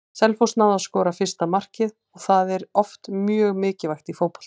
Selfoss náði að skora fyrsta markið og það er oft mjög mikilvægt í fótbolta.